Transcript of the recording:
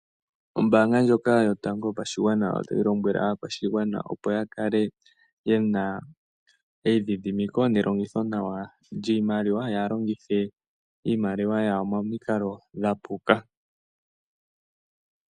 Ombaanga ndjoka yotango yopashigwana otayi lombwele aakwashigwana opo yakale yena eidhidhimiko nelongitho nawa lyiimaliwa yaa longithe iimaliwa yawo momikalo dha puka.